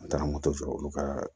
Taa moto sɔrɔ olu ka